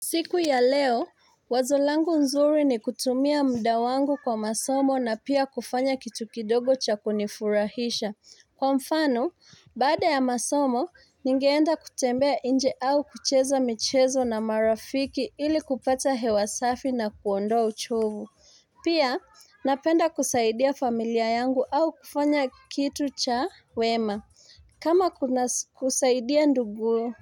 Siku ya leo wazo langu nzuri ni kutumia muda wangu kwa masomo na pia kufanya kitu kidogo cha kunifurahisha Kwa mfano baada ya masomo ningeenda kutembea inje au kucheza michezo na marafiki ili kupata hewa safi na kuondoa uchovu Pia napenda kusaidia familia yangu au kufanya kitu cha wema kama kusaidia ndugu